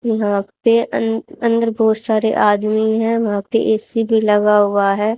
यहां पे अं अंदर बहोत सारे आदमी है वहां पे ए_सी भी लगा हुआ है।